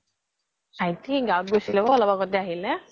ভাইতি গাও গৈছিলে অলপ আগ্তে আহিলে